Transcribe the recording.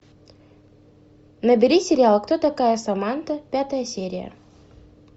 набери сериал кто такая саманта пятая серия